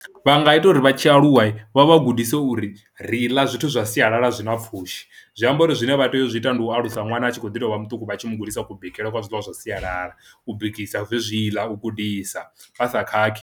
Vha nga ita uri vha tshi aluwa vha vha gudise uri ri ḽa zwithu zwa sialala zwi na pfhushi zwi amba uri zwine vha tea u zwi ita ndi u alusa ṅwana a tshi khou ḓi tovha muṱuku vha tshi mu gudisa ku bikele kwa zwiḽiwa zwa sialala u bikisa zwezwiḽa u gudisa vha sa khakhi.